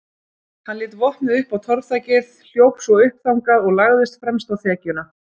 Hann lét vopnið upp á torfþakið, hljóp svo upp þangað og lagðist fremst á þekjuna.